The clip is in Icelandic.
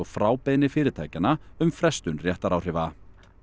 frá beiðni fyrirtækjanna um frestun réttaráhrifa